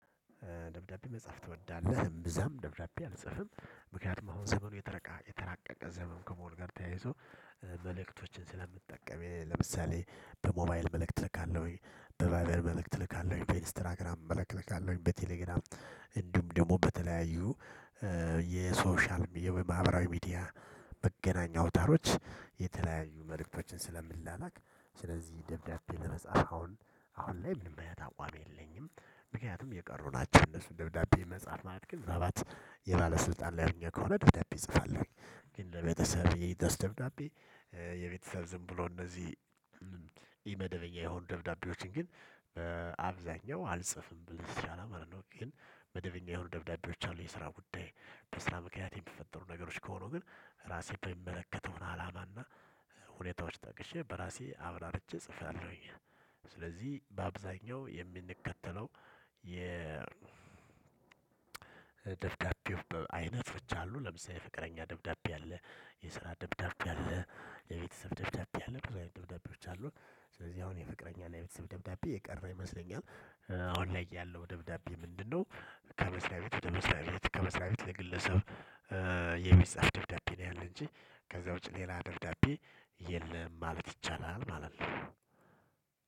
ደብዳቤ መጻፍ ትወዳለህ? እምብዛም ደብዳቤ አልጽፍም ምክንያቱም አሁን ዘመኑ የተረቃ የተራቀቀ ዘመን ከመሆኑ ጋር ተያይዞ መልእክቶችን ስለምጠቀም። ለምሳሌ በሞባይል መልእክት እልካለሁኝ በቫይበር መልእክት እልካለሁኝ በኢንስትራግራም መልእክት እልካለሁኝ በቴሌግራም እንዲሁም ደግሞ በተለያዩ የሶሻል የማህበራዊ ሚዲያ መገናኛ አውታሮች የተለያዩ መልእክቶችን ስለምላላክ። ስለዚህ ደብዳቤ ለመጻፍ አሁን አሁን ላይ ምንም አይነት አቋም የለኝም። ምክንያቱም የቀሩ ናቸው እነሱ ደብዳቤ መጻፍ ማለት ግን ምናልባት የባለስልጣን ሊያገኘው ከሆነ ደብዳቤ እጽፋለሁ። ግን ለቤተሰብ የሚደርስ ደብዳቤ የቤተሰብ ዝም ብሎ እነዚህ ኢመደበኛ የሆኑ ደብዳቤዎችን ግን አልጽፍም። ግን መደበኛ የሆኑ ደብዳቤዎች አሉ። የስራ ጉዳይ በስራ ምክንያት የሚፈጠሩ ነገሮች ከሆኑ ግን ራሴ በሚመለከተውን አላማና ሁኔታዎች ጠቅሼ በራሴ አብራርቼ ጽፋለሁኝ። ስለዚህ በአብዛኛው የምንከተለው የ ደብዳቤው አይነቶች አሉ። ለምሳሌ የፍቅረኛ ደብዳቤ አለ የስራ ደብዳቤ አለ የቤተሰብ ደብዳቤ አለ ብዙ አይነት ደብዳቤ አሉ። ስለዚህ አሁን የፍቅረኛና የቤተሰብ ደብዳቤ የቀረ ይመስለኛል። አሁን ላይ ያለው ደብዳቤ ምንድነው? ከመስሪያ ቤት ወደ መስሪያ ቤት ከመስሪያ ቤት ለግለሰብ የሚጻፍ ደብዳቤ ነው። ያለ እንጂ ከዛ ውጪ ሌላ ደብዳቤ የለም ማለት ይቻላል። ማለት ነው።